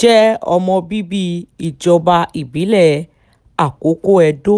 jẹ́ ọmọ bíbí ìjọba ìbílẹ̀ àkókò edo